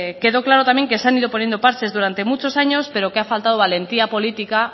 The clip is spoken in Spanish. quedó claro también que se han ido poniendo parches durante muchos años pero que ha faltado valentía política